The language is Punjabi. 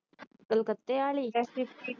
ਕਲਕਤੇ ਆਲੀ